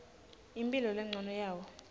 imphilo lencono yawo